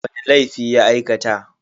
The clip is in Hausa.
Wani laifi ya aikata?